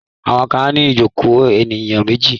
Àwọn kan á ní ìjokòó ènìyàn méjì.